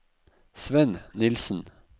Svenn Nilsen